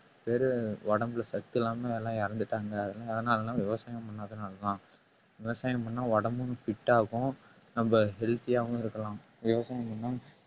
வெறும் உடம்புல சத்து இல்லாம எல்லாம் இறந்துட்டாங்க எதனாலனா விவசாயம் பண்ணாதனாலதான் விவசாயம் பண்ணா உடம்பும் fit ஆகும் நம்ம healthy ஆவும் இருக்கலாம் விவசாயம் பண்ணா